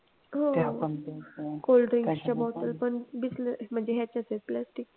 हो cold drinks च्या bottle पण bislary म्हणजे याच्याच आहेत प्लास्टिक